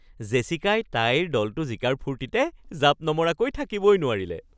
জেছিকাই তাইৰ দলটো জিকাৰ ফূৰ্তিতে জাঁপ নমৰাকৈ থাকিবই নোৱাৰিলে